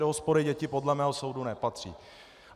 Do hospody děti podle mého soudu nepatří.